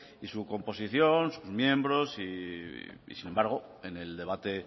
y su composición sus miembros y sin embargo en el debate